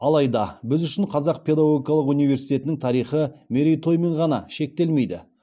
алайда біз үшін қазақ педагогикалық университетінің тарихы мерей тоймен ғана шектелмейді